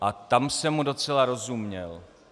A tam jsem mu docela rozuměl.